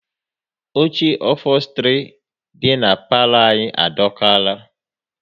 Oche ofostri dị na palo anyị adokara